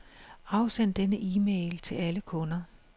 Afsend denne e-mail til alle kunder.